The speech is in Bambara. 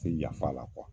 Tɛ yafa la